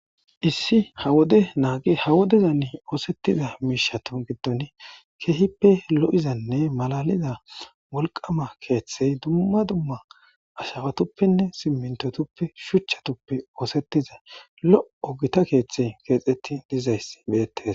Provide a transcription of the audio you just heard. Issi ha wode naagi ha wodezani ooseththida miishshathu giddoni keehipe lo7izanne malalida wolqqama keeththey dumma dumma ashawathuppenne simminththothuppe shuchchathuppe ooseththiza lo7o githa keeththey keexeththi dizayssi beeththees.